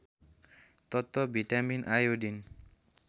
तत्त्व vitamin iodine